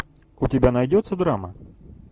у тебя найдется драма